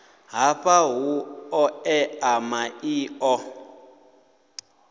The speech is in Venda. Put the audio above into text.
hafha hu ṱoḓea maḓi o